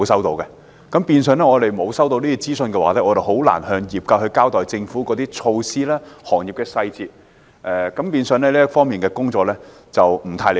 由於我們沒有收到任何資訊，所以很難向業界交代政府措施的細節，導致這方面的工作有欠理想。